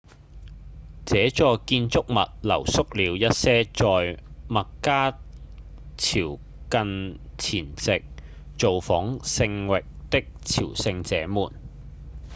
這座建築物留宿了一些在麥加朝覲前夕造訪聖城的朝聖者們